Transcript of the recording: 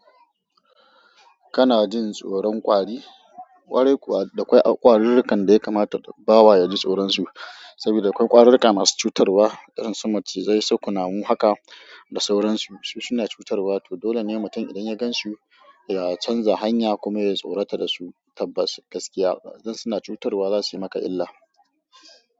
Kana jin tsoron ƙwari? Ƙwari kuwa akwai ƙwaririkan da ya kamata bawa ya ji tsoron su. Saboda akwai ƙwarirrika masu cutarwa, irin sun macizai su kunamu haka da sauransu. Su suna cutarwa, to dole ne mutum idan ya gan su, ya canza hanya kuma ya tsorata da su. Tabbas, gaskiya dan suna cutarwa za su yi maka illa.